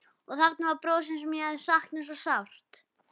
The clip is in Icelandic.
Og þarna var brosið sem ég hafði saknað svo sárt.